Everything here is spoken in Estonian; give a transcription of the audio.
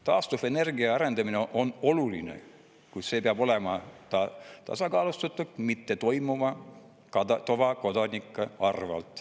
Taastuvenergia arendamine on oluline, kuid see peab olema tasakaalustatud, mitte toimuma tavakodaniku arvel.